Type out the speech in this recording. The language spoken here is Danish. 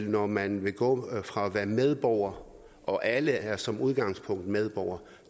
når man vil gå fra at være medborger og alle er som udgangspunkt medborgere